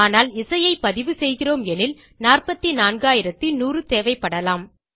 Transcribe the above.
ஆனால் இசையை பதிவு செய்கிறோம் எனில் 44100 தேவைப்படலாம்